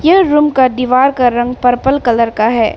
यह रूम का दीवार का रंग पर्पल कलर का है।